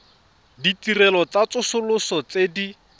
ditirelo tsa tsosoloso tse di